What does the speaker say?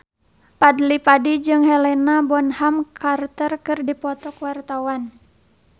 Fadly Padi jeung Helena Bonham Carter keur dipoto ku wartawan